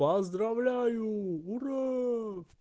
поздравляю ура